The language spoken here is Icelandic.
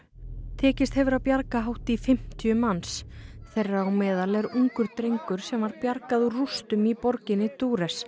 tekist hefur að bjarga hátt í fimmtíu manns þeirra á meðal er ungur drengur sem var bjargað úr rústum í borginni